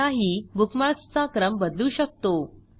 स्वतःही बुकमार्कसचा क्रम बदलू शकतो